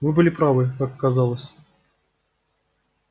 вы были правы как оказалось